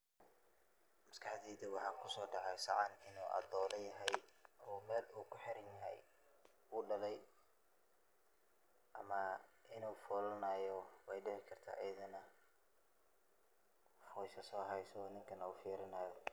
Maskaxdeyda waxa kusodaxa sacan ino adola yaxay oo mel u kuxiran yaxay, uu dalay ama inu folanayo way dicikarta ayadana, xowsha saa aragto wufirinaya.